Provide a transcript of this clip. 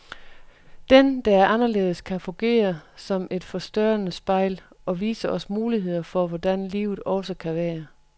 Den, der er anderledes, kan fungere som et forstørrende spejl, og vise os muligheder for hvordan livet også kan være.